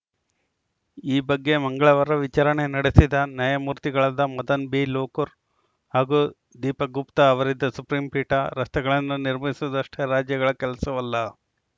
ಈ ಬಗ್ಗೆ ಮಂಗಳವಾರ ವಿಚಾರಣೆ ನಡೆಸಿದ ನ್ಯಾಯಮೂರ್ತಿಗಳಾದ ಮದನ್‌ ಬಿ ಲೋಕುರ್‌ ಹಾಗೂ ದೀಪಕ್‌ ಗುಪ್ತಾ ಅವರಿದ್ದ ಸುಪ್ರೀಂ ಪೀಠ ರಸ್ತೆಗಳನ್ನು ನಿರ್ಮಿಸುವುದಷ್ಟೇ ರಾಜ್ಯಗಳ ಕೆಲಸವಲ್ಲ